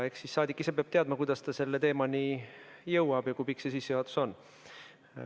Eks saadik ise peab teadma, kuidas ta selle teemani jõuab ja kui pikk see sissejuhatus on.